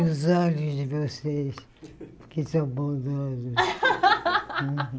Os olhos de vocês, que são bondosos.